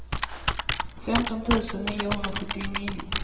femton tusen niohundrasjuttionio